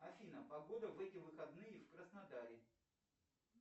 афина погода в эти выходные в краснодаре